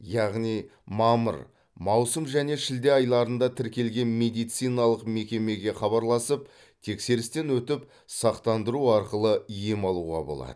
яғни мамыр маусым және шілде айларында тіркелген медициналық мекемеге хабарласып тексерістен өтіп сақтандыру арқылы ем алуға болады